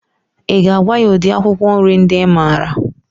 I ga-agwa ya udiri akwụkwọ nri ndị I maara?